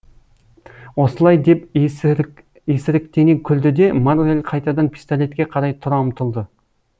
осылай деп есіріктене күлді де моррель қайтадан пистолетке қарай тұра ұмтылды